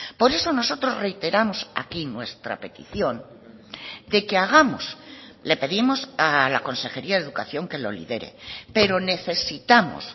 por eso nosotros reiteramos aquí nuestra petición de que hagamos le pedimos a la consejería de educación que lo lidere pero necesitamos